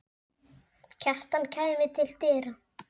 Kjartan kæmi til dyra.